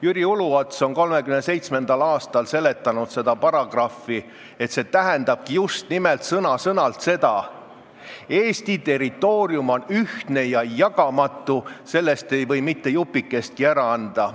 Jüri Uluots seletas 1937. aastal seda paragrahvi nii, et see tähendabki sõna-sõnalt seda: Eesti territoorium on ühtne ja jagamatu, sellest ei või mitte jupikestki ära anda.